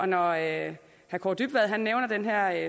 når herre kaare dybvad nævner den her